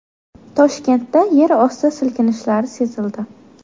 Toshkentda yerosti silkinishlari sezildi.